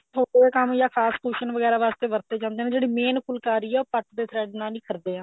ਛੋਟਾ ਜਾ ਕੰਮ ਜਾਂ ਖਾਸ cushion ਵਗੈਰਾ ਵਾਸਤੇ ਵਰਤੇ ਜਾਂਦੇ ਨੇ ਜਿਹੜੀ main ਫੁੱਲਕਾਰੀ ਐ ਉਹ ਪੱਟ ਦੇ thread ਨਾਲ ਹੀ ਕਰਦੇ ਆ